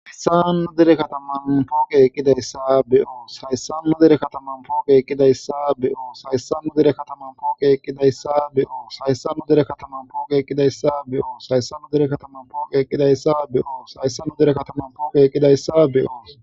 hsannu dere kataman puge eqkidayssa be7o sayssannu dere kataman puoke ekidayssa be7o saysannu dere kataman puke ekkidayssa be7o saysannu dere kataman puke ekkidayssa be7o sayssannu dere kataman puke eqkidayssa be7o sayssannu dere kataman puke eqkidayssa be7o